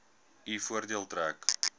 u voordeel trek